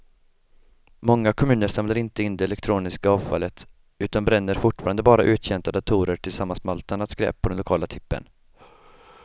Många kommuner samlar inte in det elektroniska avfallet utan bränner fortfarande bara uttjänta datorer tillsammans med allt annat skräp på den lokala tippen.